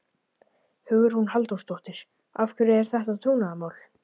Hugrún Halldórsdóttir: Af hverju er þetta trúnaðarmál?